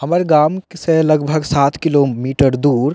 हमर गाम से लगभग सात किलो मीटर दूर --